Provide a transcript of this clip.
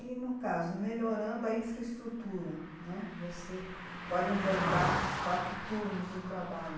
E no caso, melhorando a infraestrutura, né, você pode implantar quatro turnos de trabalho.